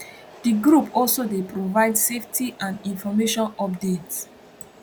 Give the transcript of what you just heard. di group also dey provide safety and information updates